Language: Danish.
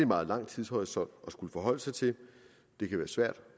meget lang tidshorisont at skulle forholde sig til det kan være svært